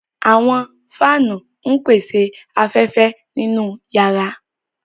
Àwọn fáanu ńpese afẹfẹ ninu yàra.